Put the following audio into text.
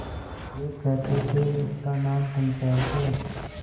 वे कहते थेइसका नाम पंचायत है